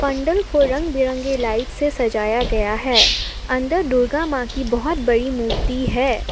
मंडल को रंग बिरंगी लाइट से सजाया गया है अंदर दुर्गा मां की बहुत बड़ी मूर्ति है।